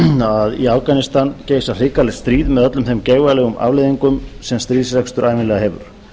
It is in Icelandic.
að í afganistan geisar geigvænlegu stríð með öllum þeim geigvænlegu afleiðingum sem stríðsrekstur ævinlega hefur